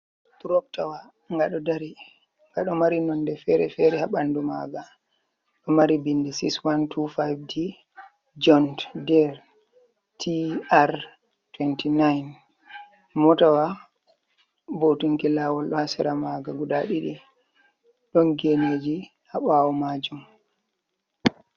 Turoktawa ga ɗo dari gaɗo mari nonde fere-fere ha ɓandu maga do mari binde 6125d jont der tr29 motawa vo'utunki lawol ha sera maga guda didi don geneji ha ɓawo majum.